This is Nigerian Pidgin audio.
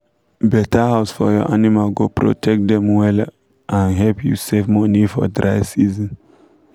better house for your animal go protect dem wella and help u save money for dry season